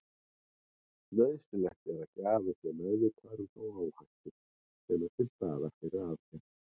Nauðsynlegt er að gjafi sé meðvitaður um þá áhættu sem er til staðar fyrir aðgerð.